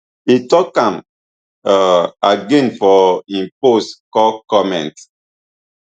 e tok am um again for im post call comments